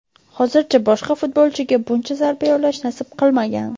Hozircha boshqa futbolchiga buncha zarba yo‘llash nasib qilmagan.